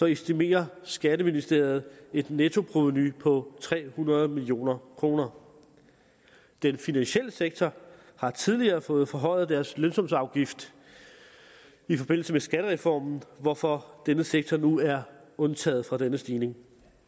estimerer skatteministeriet et nettoprovenu på tre hundrede million kroner den finansielle sektor har tidligere fået forhøjet deres lønsumsafgift i forbindelse med skattereformen hvorfor denne sektor nu er undtaget fra denne stigning